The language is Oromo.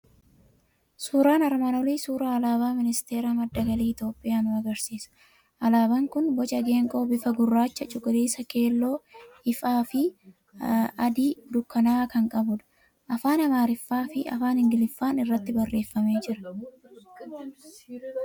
Suuraan armaan olii suuraa Alaabaa Ministeera madda Galii Itoophiyaa nu agarsiisa. Alaabaan kun boca geengoo bifa guraachaa, cuquliisa, keelloo ifaa fi adii dukkanaa'aa kan qabudha. Afaaan amaariffaa fi afaan Ingiliffaan irratti barreeffamee jira.